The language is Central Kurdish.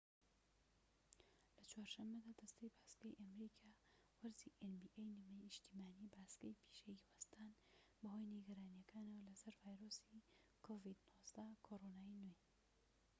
لە چوار شەمەدا دەستەی باسکەی نیشتیمانی nba ی ئەمریکا وەرزی باسکەی پیشەیی وەستان بەهۆی نیگەرانیەکانەوە لەسەر ڤایرۆسی کۆرۆنای نوێ-covid-19